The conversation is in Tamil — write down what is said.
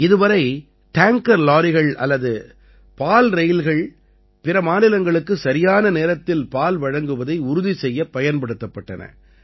இதுவரை டேங்கர் லாரிகள் அல்லது பால் ரயில்கள் பிற மாநிலங்களுக்கு சரியான நேரத்தில் பால் வழங்குவதை உறுதி செய்ய பயன்படுத்தப்பட்டன